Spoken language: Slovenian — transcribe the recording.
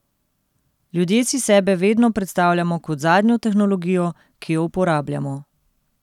Ljudje si sebe vedno predstavljamo kot zadnjo tehnologijo, ki jo uporabljamo.